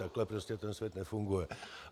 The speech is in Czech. Takhle prostě ten svět nefunguje.